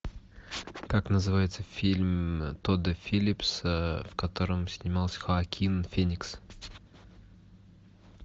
как называется фильм тодда филлипса в котором снимался хоакин феникс